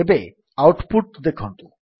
ଏବେ output ଦେଖନ୍ତୁ